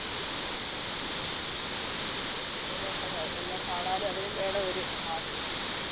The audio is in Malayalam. അത് നല്ലതായി. എല്ലാം കാണാനും അതിനും വേണം ഒരു ഭാഗ്യം.